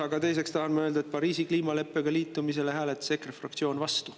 Aga teiseks tahan ma öelda, et Pariisi kliimaleppega liitumisele hääletas EKRE fraktsioon vastu.